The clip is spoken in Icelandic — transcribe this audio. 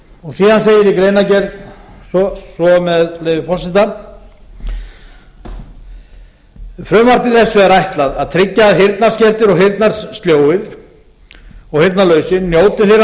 laganna síðan segir í greinargerð svo með leyfi forseta frumvarpi þessu er ætlað að tryggja að heyrnarskertir og heyrnarlausir njóti þeirra